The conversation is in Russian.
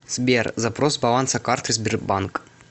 сбер запрос баланса карты сбербанк